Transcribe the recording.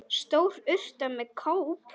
Stór urta með kóp.